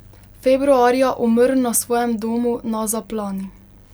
Februarja umrl na svojem domu na Zaplani.